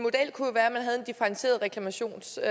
differentieret reklamationsret